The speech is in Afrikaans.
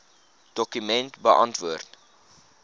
dokument beantwoord